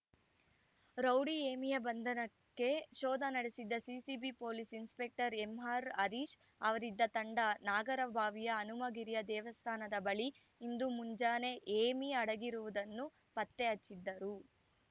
rowdy ಹೇಮಿಯ ಬಂಧನಕ್ಕೆ ಶೋಧ ನಡೆಸಿದ್ದ CCB police inspector M R Harish ಅವರಿದ್ದ ತಂಡ ನಾಗರಬಾವಿಯ ಹನುಮಗಿರಿಯ ದೇವಸ್ಥಾನದ ಬಳಿ ಇಂದು ಮುಂಜಾನೆ ಹೇಮಿ ಅಡಗಿರುವುದನ್ನು ಪತ್ತೆಹಚ್ಚಿದ್ದರು